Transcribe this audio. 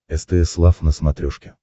стс лав на смотрешке